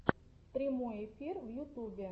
прямой эфир в ютубе